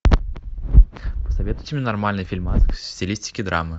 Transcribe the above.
посоветуйте мне нормальный фильмас в стилистике драмы